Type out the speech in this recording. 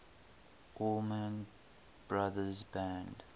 allman brothers band